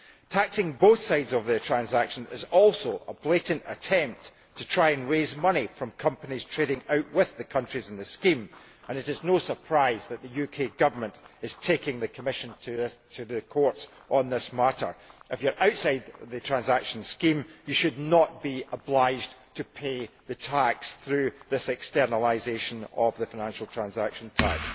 Taxing both sides of the transaction is also a blatant attempt to try and raise money from companies trading outwith the countries in the scheme, and it is no surprise that the UK Government is taking the Commission to the Court on this matter. If you are outside the transaction scheme you should not be obliged to pay the tax through this externalisation of the financial transaction tax.